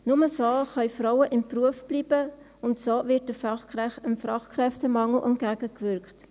Nur so können Frauen im Beruf bleiben, und so wird dem Fachkräftemangel entgegengewirkt.